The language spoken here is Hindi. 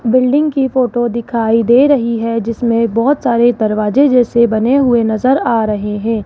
बिल्डिंग की फोटो दिखाई दे रही है जिसमें बहोत सारे दरवाजे जैसे बने हुए नजर आ रहे हैं।